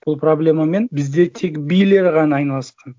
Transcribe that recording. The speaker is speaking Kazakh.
бұл проблемамен бізде тек билер ғана айналысқан